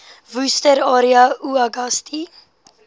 worcester area uagasti